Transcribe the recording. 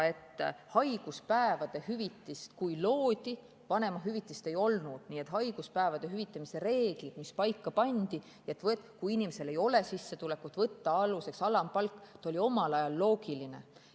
Kui haiguspäevade hüvitist loodi, siis vanemahüvitist ei olnud, nii et haiguspäevade hüvitamise reeglid, mis paika pandi, et kui inimesel ei ole sissetulekut, siis võtta aluseks alampalk, olid omal ajal loogilised.